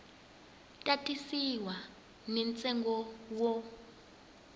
ta tisiwa ni ntsengo wo